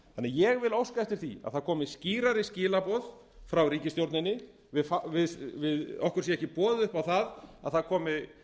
ég á óska eftir því að það dæmi skýrari skilaboð frá ríkisstjórninni okkur sé ekki boðið upp á það að það komi